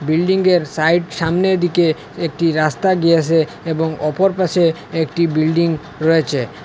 বিল্ডিংয়ের সাইড সামনে দিকে একটি রাস্তা গিয়াসে এবং অপর পাশে একটি বিল্ডিং রয়েছে অ্যা--